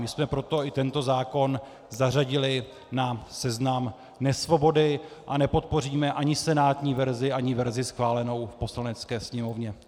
My jsme proto i tento zákon zařadili na seznam nesvobody a nepodpoříme ani senátní verzi, ani verzi schválenou v Poslanecké sněmovně.